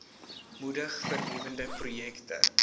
moedig vernuwende projekte